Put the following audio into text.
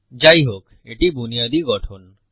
যাইহোক এটি বুনিয়াদি গঠন